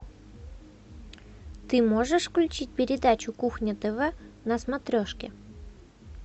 ты можешь включить передачу кухня тв на смотрешке